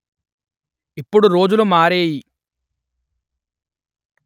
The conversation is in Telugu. ఇప్పుడు రోజులు మారేయి